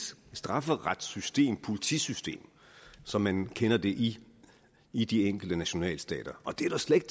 strafferetssystem politisystem som man kender det i i de enkelte nationalstater og det er slet